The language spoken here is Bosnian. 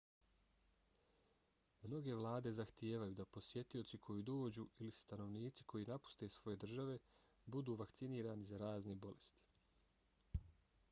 mnoge vlade zahtijevaju da posjetioci koji dođu ili stanovnici koji napuste svoje države budu vakcinirani za razne bolesti